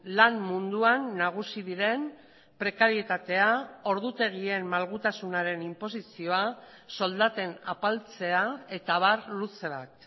lan munduan nagusi diren prekarietatea ordutegien malgutasunaren inposizioa soldaten apaltzea eta abar luze bat